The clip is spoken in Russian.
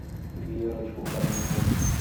верочку корнееву